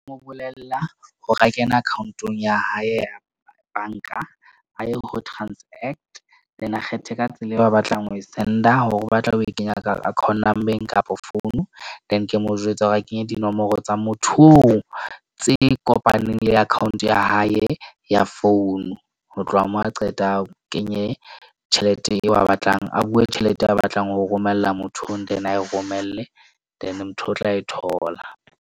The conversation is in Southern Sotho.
Mo bolella hore a kene account-ong ya hae ya bank-a, a ye ho transact then a kgethe ka tsela eo ba batlang ho e send-a. Hore o batla ho e kenya account number-ng kapa phone. Then ke mo jwetsa hore a kenye dinomoro tsa motho oo tse kopaneng le account ya hae ya phone. Ho tloha moo, a qeta a kenye tjhelete eo a batlang a bue tjhelete eo a batlang ho e romella motho oo and then a e romelle then motho o tla e thola.